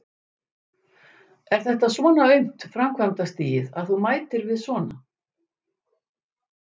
Er þetta svona aumt framkvæmdastigið, að þú mætir við svona?